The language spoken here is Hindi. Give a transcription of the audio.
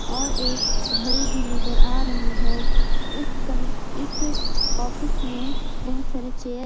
और एक घड़ी भी नजर आ रही है इस कम इस ऑफिस में बहुत सारे चेयर--